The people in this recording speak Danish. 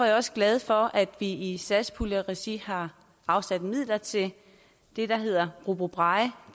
jeg også glad for at vi i satspuljeregi har afsat midler til det der hedder robobraille